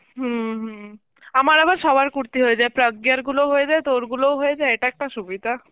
হম হম, আমার আবার সবার কুর্তি হয়ে যায়, প্রজ্ঞার গুলোও হয়ে যায় তোর গুলোও হয়ে যায়, এটা একটা সুবিধা.